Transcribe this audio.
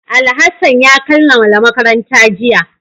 Alhassan ya kammala makaranta jiya